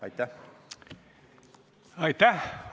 Aitäh!